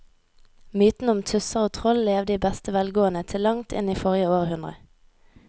Mytene om tusser og troll levde i beste velgående til langt inn i forrige århundre.